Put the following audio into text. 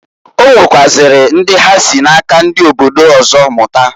Onwekwaziri ndi ha si na-aka ndi obodo ọzọ mụta.